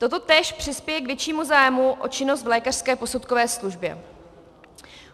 Toto též přispěje k většímu zájmu o činnost v lékařské posudkové službě.